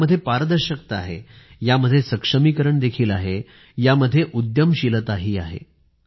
यामध्ये पारदर्शकता आहे यामध्ये सक्षमीकरण देखील आहे यामध्ये उद्यमशीलताही आहे